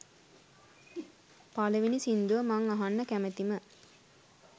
පළවෙනි සින්දුව මං අහන්න කැමතිම